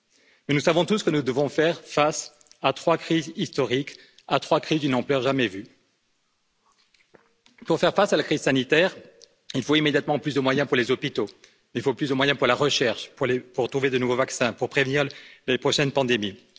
Mais nous savons tous que nous devons faire face à trois crises historiques, à trois crises d'une ampleur jamais vue. Pour faire face à la crise sanitaire, il faut immédiatement plus de moyens pour les hôpitaux, il faut plus de moyens pour la recherche, pour trouver de nouveaux vaccins, pour prévenir les prochaines pandémies.